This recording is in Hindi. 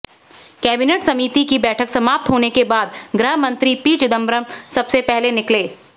कैबिनेट समिति की बैठक समाप्त होने के बाद गृह मंत्री पी चिदंबरम सबसे पहले निकले